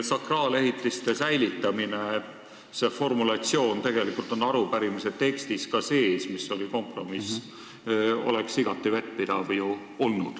Sakraalehitiste säilitamine – see formuleering on ka arupärimise tekstis kompromissina sees – oleks ju igati vettpidav olnud.